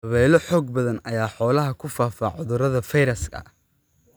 Dabaylo xoog badan ayaa xoolaha ku faafa cudurro fayras ah.